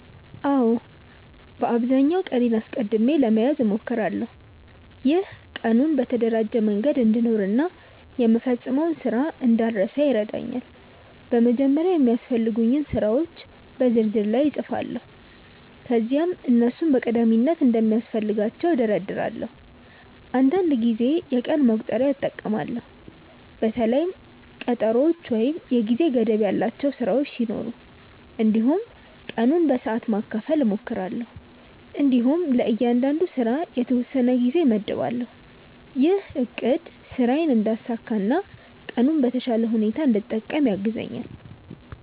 አዎ፣ በአብዛኛው ቀኔን አስቀድሜ ለመያዝ እሞክራለሁ። ይህ ቀኑን በተደራጀ መንገድ እንድኖር እና የምፈጽመውን ስራ እንዳልረሳ ይረዳኛል። በመጀመሪያ የሚያስፈልጉኝን ስራዎች የ ዝርዝር ላይ እጻፋለሁ ከዚያም እነሱን በቀዳሚነት እንደሚያስፈልጋቸው እደርዳለሁ። አንዳንድ ጊዜ የቀን መቁጠሪያ እጠቀማለሁ በተለይም ቀጠሮዎች ወይም የጊዜ ገደብ ያላቸው ስራዎች ሲኖሩ። እንዲሁም ቀኑን በሰዓት ማካፈል እሞክራለሁ እንዲሁም ለእያንዳንዱ ስራ የተወሰነ ጊዜ እመድባለሁ። ይህ አቅድ ስራዬን እንዳሳካ እና ቀኑን በተሻለ ሁኔታ እንድጠቀም ያግዛኛል።